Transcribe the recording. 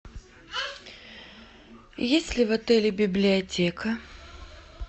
есть ли в отеле библиотека